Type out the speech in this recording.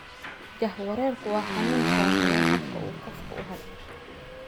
Jahawareerku waa xanuun saameeya habka uu qofku u hadlo.